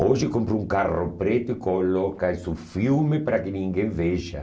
Hoje compra um carro preto e coloca-se um filme para que ninguém veja.